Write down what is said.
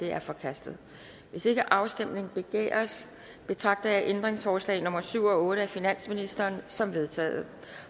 er forkastet hvis ikke afstemning begæres betragter jeg ændringsforslag nummer syv og otte af finansministeren som vedtaget